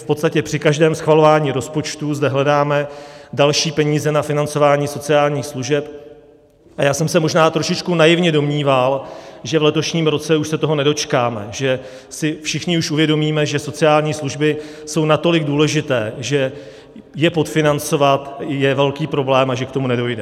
V podstatě při každém schvalování rozpočtu zde hledáme další peníze na financování sociálních služeb a já jsem se možná trošičku naivně domníval, že v letošním roce už se toho nedočkáme, že si všichni už uvědomíme, že sociální služby jsou natolik důležité, že je podfinancovat je velký problém, a že k tomu nedojde.